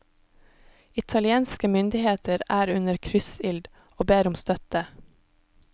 Italienske myndigheter er under kryssild og ber om støtte.